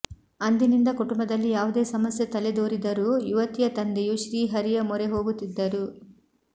ಅಂದಿನಿಂದ ಕುಟುಂಬದಲ್ಲಿ ಯಾವುದೇ ಸಮಸ್ಯೆ ತಲೆದೋರಿದರೂ ಯುವತಿಯ ತಂದೆಯು ಶ್ರೀಹರಿಯ ಮೊರೆ ಹೋಗುತ್ತಿದ್ದರು